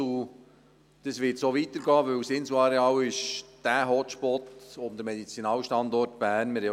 Dies wird so weitergehen, denn das Inselareal ist der entscheidende Hotspot, um den Medizinalstandort Bern zu stärken.